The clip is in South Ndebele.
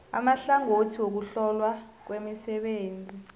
amahlangothi wokuhlolwa kwemisebenzi